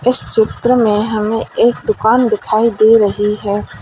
इस चित्र में हमें एक दुकान दिखाई दे रही है।